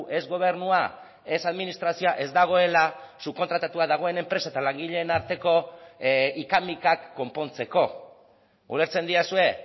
ez gobernua ez administrazioa ez dagoela subkontratatua dagoen enpresa eta langileen arteko hika mikak konpontzeko ulertzen didazue